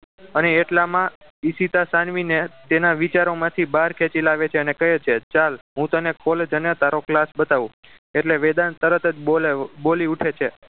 અને એટલામાં ઇશિતા સાનવીને તેના વિચારોમાંથી બહાર ખેંચી લાવે છે અને તેને કહે છે ચાલ હું તને college અને તારો class બતાવું એટલે વેદાંત તરત બોલે બોલી ઊઠે છે